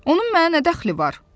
Onun mənə nə dəxli var?